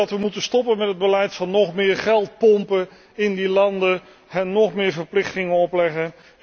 We moeten stoppen met het beleid van nog meer geld pompen in die landen, hen nóg meer verplichtingen opleggen.